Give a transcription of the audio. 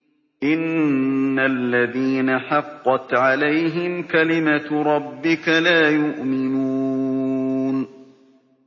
إِنَّ الَّذِينَ حَقَّتْ عَلَيْهِمْ كَلِمَتُ رَبِّكَ لَا يُؤْمِنُونَ